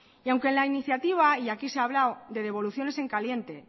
y aunque la iniciativa y aquí se ha hablado de devoluciones en caliente